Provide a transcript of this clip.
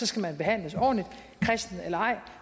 skal man behandles ordentligt kristen eller ej